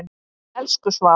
Elsku Svava.